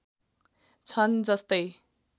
छन् जस्तै